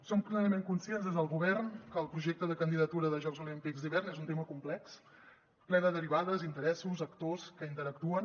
som plenament conscients des del govern que el projecte de candidatura de jocs olímpics d’hivern és un tema complex ple de derivades interessos actors que interactuen